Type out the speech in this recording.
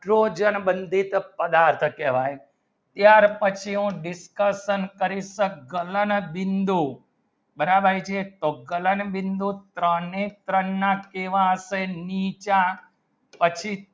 slogan બંદિત પદાર્થ કહેવાય યાર પછી discussion કરી છે ગમન બિંદુ બરાબર છે તો ગમન બિંદુ તરની ત્રણ માં કેહવા આશે નીચા પછી